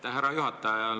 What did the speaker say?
Aitäh, härra juhataja!